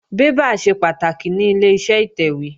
Bébà ṣe pàtàkì ní Ileṣẹ́ ìtẹ̀wé